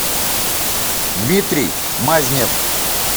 дмитрий мазнев